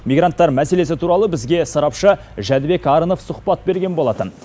мигранттар мәселесі туралы бізге сарапшы жәнібек арынов сұхбат берген болатын